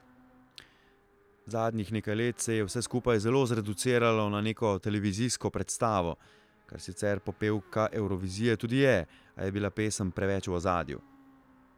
Zadnjih nekaj let se je vse skupaj zelo zreduciralo na neko televizijsko predstavo, kar sicer popevka Evrovizije tudi je, a je bila pesem preveč v ozadju.